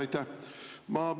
Aitäh!